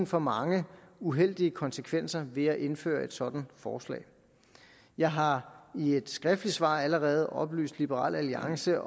for mange uheldige konsekvenser ved at indføre et sådant forslag jeg har i et skriftligt svar allerede oplyst liberal alliance